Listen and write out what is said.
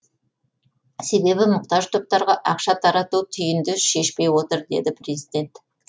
себебі мұқтаж топтарға ақша тарату түйінді шешпей отыр деді президент